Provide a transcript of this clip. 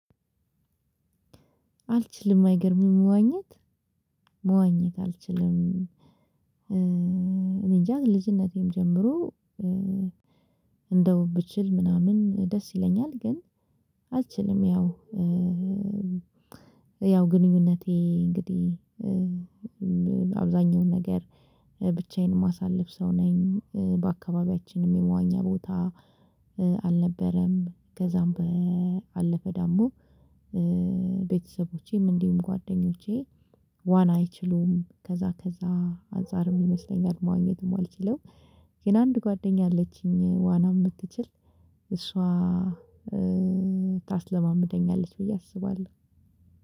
አልችልም አይገርምም መዋኘት መዋኘት አልችልም። እኔንጃ ልጅነቴም ጀምሮ እንደው ብችል ምናምን ደስ ይለኛል ግን አልችልም። ያው ያው ግንኙነቴ እንግዲህ በአብዛኛው ነገር ብቻዬን የማሳልፍ ሰው ነኝ። በአካባቢያችንም የመዋኛ ቦታ አልነበረም። ከዛም ባለፈ ደሞ ቤተሰቦቼም እንዲሁም ጓደኞቼ ዋና አይችሉም ከዛ ከዛ አንፃርም ይመስለኛል መዋኘት የማልችለው። ግን አንድ ጓደኛ አለችኝ ዋና የምትችል እሷ ታስለማምደኛለች ብዬ አስባለሁ።